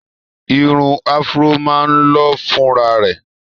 Irun Afro máa ń lọ́ fúnra rẹ̀.